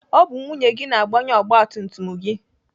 Ọ bụ nwunye gị na-agbanye ọgbatumtum gị.